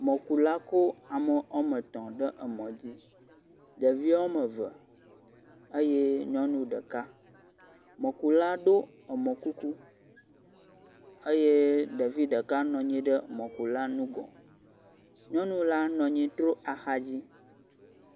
mɔkula kó ame ɔmetɔ̃ ɖe emɔ dzi ɖevi ɔmeve eye nyɔnu ɖeka mɔkula ɖó emɔ kuku eye ɖevi ɖeka nɔnyi ɖe mɔkula nugɔ nyɔnu la nɔnyi tro axadzi